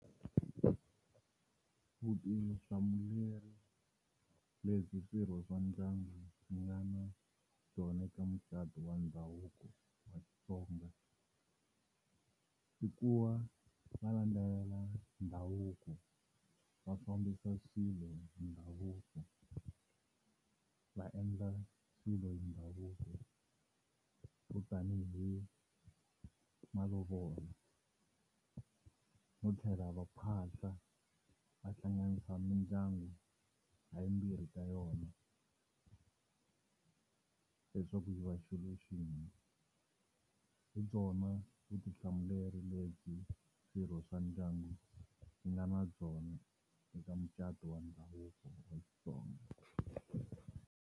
Vutihlamuleri lebyi swirho swa ndyangu wu nga na tona eka mucato wa ndhavuko wa Xitsonga i kuva va landzelela ndhavuko va fambisa swilo hi ndhavuko va endla swilo hi ndhavuko swo tani hi malovolo no tlhela va phahla va hlanganisa mindyangu hi yimbirhi ka yona leswaku yi va xilo xin'we hi byona vutihlamuleri lebyi swirho swa ndyangu swi nga na byona eka mucato wa ndhavuko wa .